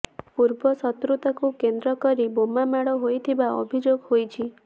ପୂର୍ବ ଶତ୍ରୁତାକୁ କେନ୍ଦ୍ର କରି ବୋମାମାଡ ହୋଇଥିବା ଅଭିଯୋଗ ହୋଇଛି